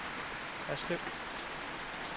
Haslev